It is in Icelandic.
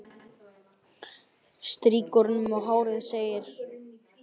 Strýkur honum um hárið og segir: